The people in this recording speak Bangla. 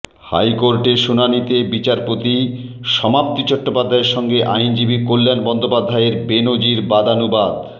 হাইকোর্টে শুনানিতে বিচারপতি সমাপ্তি চট্টোপাধ্যায়ের সঙ্গে আইনজীবী কল্যাণ বন্দ্যোপাধ্যায়ের বেনজির বাদানুবাদ